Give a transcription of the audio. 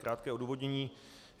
Krátké odůvodnění.